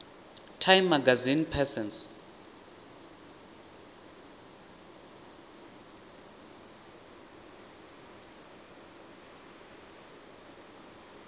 time magazine persons